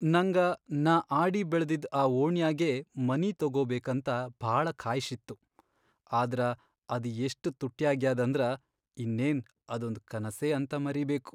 ನಂಗ ನಾ ಆಡಿಬೆಳದಿದ್ ಆ ಓಣ್ಯಾಗೇ ಮನಿ ತೊಗೊಬೇಕಂತ ಭಾಳ ಖಾಯ್ಷಿತ್ತು, ಆದ್ರ ಅದ್ ಎಷ್ಟ್ ತುಟ್ಯಾಗ್ಯಾದಂದ್ರ ಇನ್ನೇನ್ ಅದೊಂದ್ ಕನಸೇ ಅಂತ ಮರೀಬೇಕು.